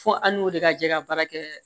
Fo an n'o de ka jɛ ka baara kɛ